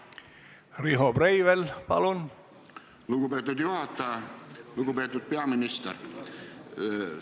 Terviseamet ütles, et niisuguse ametiasutuse täielik puhastamine võtab aega ca 48 tundi, kaks ööpäeva, ja nakkuse peiteperiood võib lähikontaktsetel olla kuni 14 päeva.